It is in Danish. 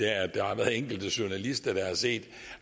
at der har været enkelte journalister der har set